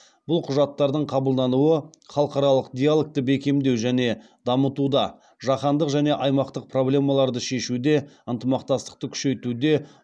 бұл құжаттардың қабылдануы халықаралық диалогты бекемдеу және дамытуда жаһандық және аймақтық проблемаларды шешуде ынтымақтастықты күшейтуде